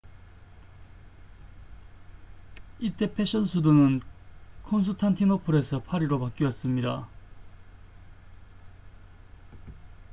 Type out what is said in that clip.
이 때 패션 수도는 콘스탄티노플에서 파리로 바뀌었습니다